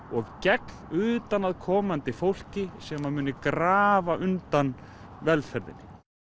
og gegn utanaðkomandi fólki sem muni grafa undan velferðinni